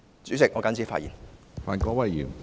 主席，我謹此陳辭。